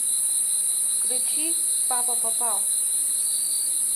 включи папа попал